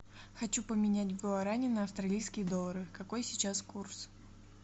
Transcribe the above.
хочу поменять гуарани на австралийские доллары какой сейчас курс